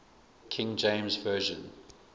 king james version